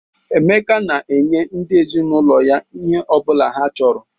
Emeka na-enye ndị ezinaụlọ ya ihe ọ bụla ha chọrọ.